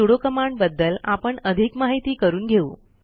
sudo command बद्दल आपण अधिक माहिती करून घेऊ